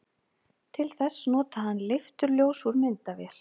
til þess notaði hann leifturljós úr myndavél